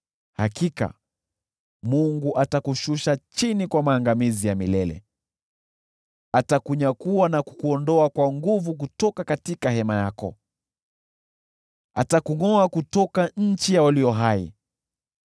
Hakika Mungu atakushusha chini kwa maangamizi ya milele: atakunyakua na kukuondoa kwa nguvu kutoka hema yako, atakungʼoa kutoka nchi ya walio hai.